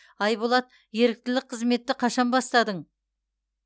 айболат еріктілік қызметті қашан бастадың